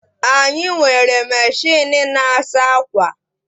Anyị nwere machịnị na-asa akwa